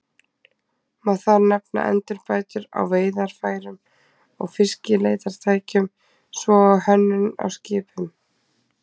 Má þar nefna endurbætur á veiðarfærum og fiskileitartækjum, svo og hönnun á skipum.